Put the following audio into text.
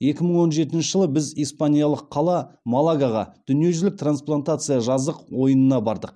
екі мың он жетінші жылы біз испаниялық қала малагаға дүниежүзілік трансплантация жаздық ойынына бардық